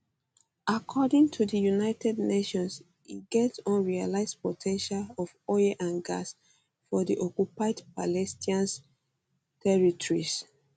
according to united nations e get unrealised po ten tial of oil and gas for di occupied palestinian territories